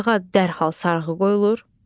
Ayağa dərhal sarğı qoyulur.